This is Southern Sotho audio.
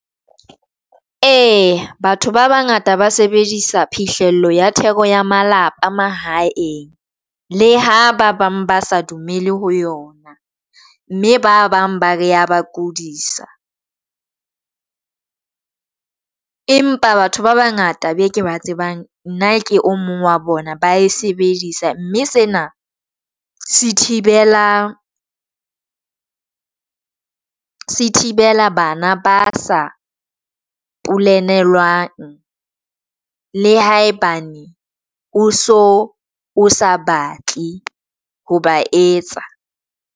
Eya batho ba bangata ba sebedisa phihlello ya theko ya malapa mahaeng. Le ha ba bang ba sa dumele ho yona, mme ba bang ba re ya ba kodisa . Empa batho ba bangata beke ba tsebang nna ke omong wa bona, ba e sebedisa, mme sena se thibela bana ba sa polenelwang le haebane o so o sa batle ho ba etsa.